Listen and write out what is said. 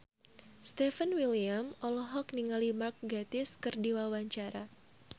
Stefan William olohok ningali Mark Gatiss keur diwawancara